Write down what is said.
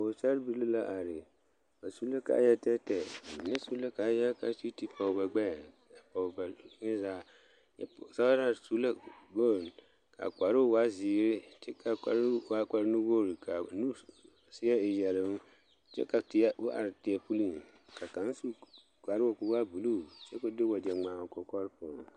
Pɔgesera bibile la are ba su la kaaya tɛɛtɛɛ bamine su la kaaya kaa sige te poɔ ba gbɛɛ a poɔ ba zie zaa a pɔgesera su la boŋ kaa kparo waa ziiri kyɛ kaa kparo waa kpare nuwogre ka seɛ e yɛloŋ ko are teɛ puli kaa kaŋ su kparo ko'o waa buluu wagye ŋma o kɔkɔre poɔ.